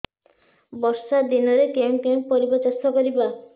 ବର୍ଷା ଦିନରେ କେଉଁ କେଉଁ ପରିବା ଚାଷ କରିବା